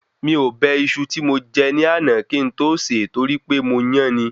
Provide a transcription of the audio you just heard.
Mi ò bẹ Iṣu ti mo je ní àná kí n to se torí pé mo yán ni